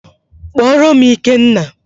Kpọọrọ m Ikenna!